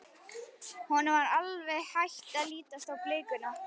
Honum var alveg hætt að lítast á blikuna.